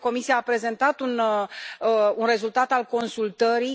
Comisia a prezentat un rezultat al consultării.